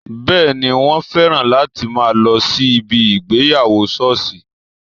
Bẹẹni, wọn féràn láti máa lọ sí ibi ìgbéyàwó sọ́ọ̀sì